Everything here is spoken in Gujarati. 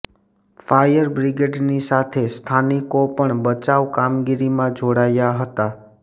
ફાયરબ્રિગેડની સાથે સ્થાનિકો પણ બચાવ કામગીરીમાં જોડાયા હતા